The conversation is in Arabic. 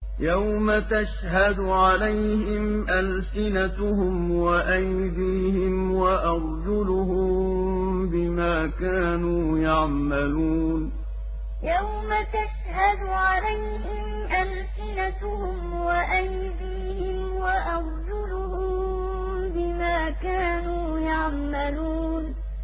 يَوْمَ تَشْهَدُ عَلَيْهِمْ أَلْسِنَتُهُمْ وَأَيْدِيهِمْ وَأَرْجُلُهُم بِمَا كَانُوا يَعْمَلُونَ يَوْمَ تَشْهَدُ عَلَيْهِمْ أَلْسِنَتُهُمْ وَأَيْدِيهِمْ وَأَرْجُلُهُم بِمَا كَانُوا يَعْمَلُونَ